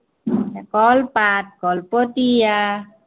কলপাত কলপতীয়া।